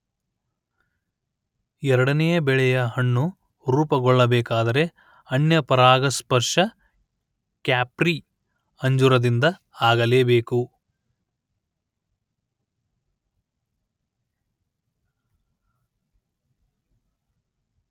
ಎರಡನೆಯ ಬೆಳೆಯ ಹಣ್ಣು ರೂಪುಗೊಳ್ಳಬೇಕಾದರೆ ಅನ್ಯಪರಾಗಸ್ಪರ್ಶ ಕ್ಯಾಪ್ರಿ ಅಂಜೂರದಿಂದ ಆಗಲೇಬೇಕು